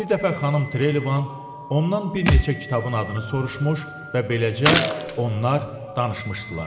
Bir dəfə xanım Trevəvan ondan bir neçə kitabın adını soruşmuş və beləcə onlar danışmışdılar.